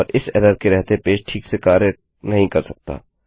और इस एरर के रहते पेज ठीक से कार्य नहीं कर सकता